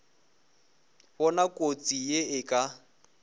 bona kotsi ye e ka